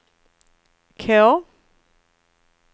K